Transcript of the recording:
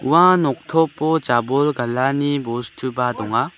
ua noktopo jabol galani bostuba donga.